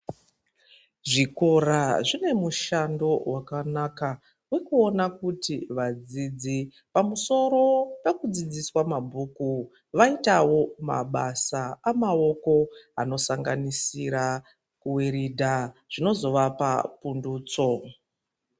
Zvikora zvine mushando wakanaka wekuona kuti vadzidzi pamusoro peku dzidziswa mabhuku vaitavo mabasa amawoko ano sanganisira ku wiridha zvinozo vapa pundutso.